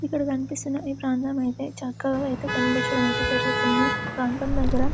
ఇక్కడ కనిపిస్తున్నా ఈ ప్రాంతము యితే చక్కగా ఐతే కనిపించడంయితే జరుగుతుంది ప్రాంతము దగ్గర --